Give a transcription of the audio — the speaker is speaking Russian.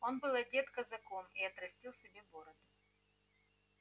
он был одет казаком и отрастил себе бороду